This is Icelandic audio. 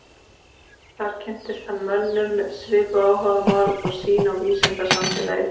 Þar kynntist hann mönnum með svipuð áhugamál og sýn á vísindasamfélagið.